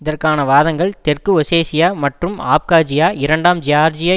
இதற்கான வாதங்கள் தெற்கு ஓசேஷியா மற்றும் அப்காஜியா இரண்டாம் ஜியார்ஜிய